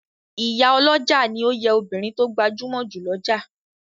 Ìyá olójà ní òye obìrin to gbajúmò jù l'ọja